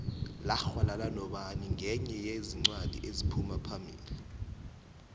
laxhwalala nobani nqenye yezincwadi eziphumaphambili